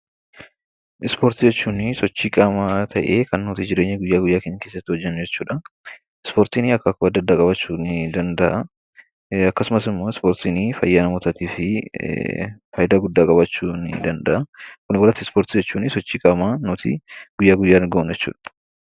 Ispoortii jechuun sochii qaamaa ta'ee kan nuti jireenya guyyaa guyyaa keessatti hojjannu jechuudha. Ispoortiin akaakuu adda addaa qabaachuu danda'a. Akkasumas immoo ispoortiin fayyaa namootaatiif fayidaa guddaa qabaachuu ni danda'a. Walumaa galatti ispoortiin sochii qaamaa guyyaa guyyaan goonudha.